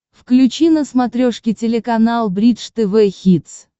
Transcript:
включи на смотрешке телеканал бридж тв хитс